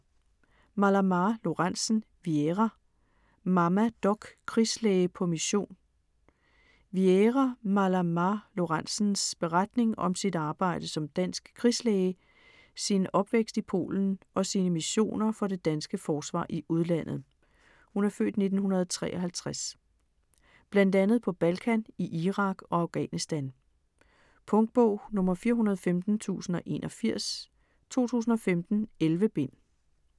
Malamá Lorentzen, Wiera: Mamma doc: krigslæge på mission Wiera Malamá Lorentzens (f. 1953) beretning om sit arbejde som dansk krigslæge, sin opvækst i Polen og sine missioner for det danske forsvar i udlandet. Blandt andet på Balkan, i Irak og Afghanistan. Punktbog 415081 2015. 11 bind.